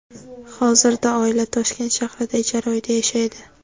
Hozirda oila Toshkent shahrida ijara uyda yashaydi.